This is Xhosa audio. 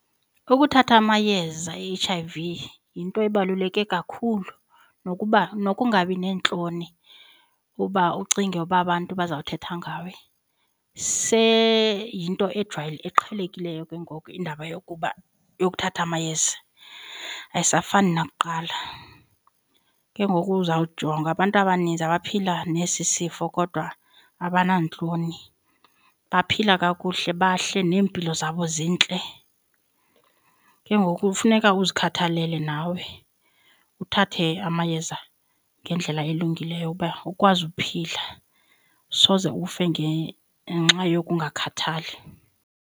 Ukuthatha amayeza e-H_I_V yinto ebaluleke kakhulu nokuba nokungabi neentloni uba ucinge uba abantu bazawuthetha ngawe seyinto eqhelekileyo ke ngoku indaba yokuba yokuthatha amayeza, ayisafani nakuqala. Ke ngoku uzawujonga abantu abanintsi abaphila nesi sifo kodwa abanantloni, baphila kakuhle bahle neempilo zabo zintle. Ke ngoku funeka uzikhathalele nawe uthathe amayeza ngendlela elungileyo uba ukwazi uphila. Soze ufe ngenxa yokungakhathali.